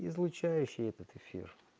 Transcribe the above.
излучающий этот эфир